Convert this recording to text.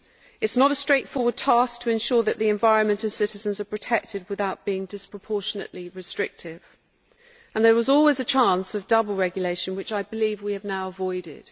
It is not a straightforward task to ensure that the environment and citizens are protected without being disproportionately restrictive, and there was always a chance of double regulation, which I believe we have now avoided.